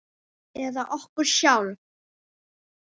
Eða okkur sjálf?